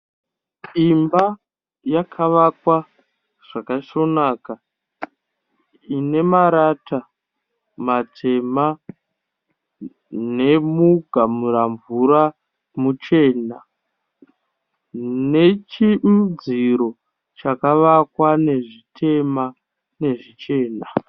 Imba yakavakwa zvakasvoonaka. Ine marata matema nemugamura mvura muchena. Nechiudziro chakavakwa nezvitema nezvichena.